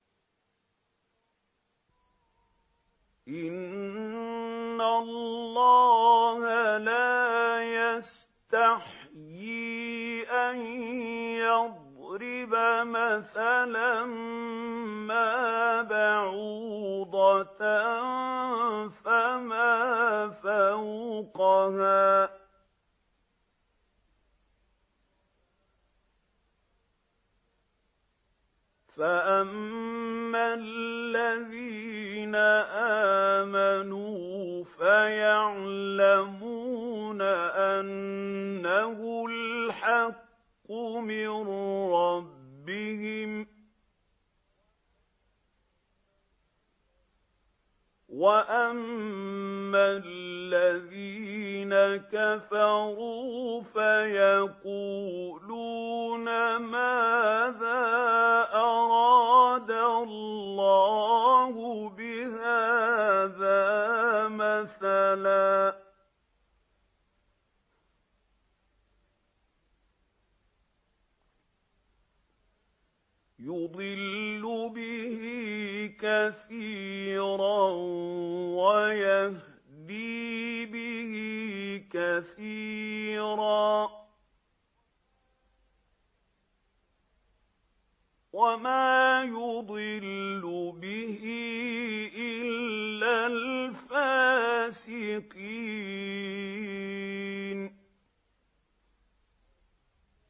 ۞ إِنَّ اللَّهَ لَا يَسْتَحْيِي أَن يَضْرِبَ مَثَلًا مَّا بَعُوضَةً فَمَا فَوْقَهَا ۚ فَأَمَّا الَّذِينَ آمَنُوا فَيَعْلَمُونَ أَنَّهُ الْحَقُّ مِن رَّبِّهِمْ ۖ وَأَمَّا الَّذِينَ كَفَرُوا فَيَقُولُونَ مَاذَا أَرَادَ اللَّهُ بِهَٰذَا مَثَلًا ۘ يُضِلُّ بِهِ كَثِيرًا وَيَهْدِي بِهِ كَثِيرًا ۚ وَمَا يُضِلُّ بِهِ إِلَّا الْفَاسِقِينَ